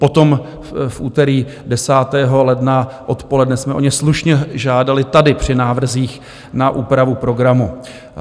Potom v úterý 10. ledna odpoledne jsme o ně slušně žádali tady při návrzích na úpravu programu.